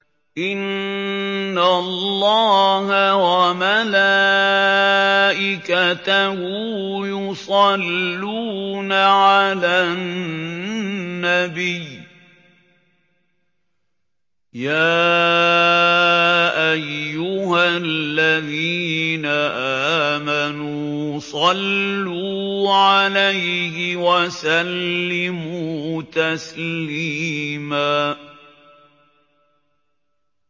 إِنَّ اللَّهَ وَمَلَائِكَتَهُ يُصَلُّونَ عَلَى النَّبِيِّ ۚ يَا أَيُّهَا الَّذِينَ آمَنُوا صَلُّوا عَلَيْهِ وَسَلِّمُوا تَسْلِيمًا